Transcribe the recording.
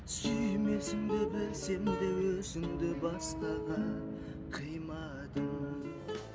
сүймесімді білсем де өзіңді басқаға қимадым